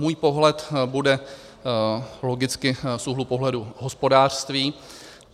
Můj pohled bude logicky z úhlu pohledu hospodářství.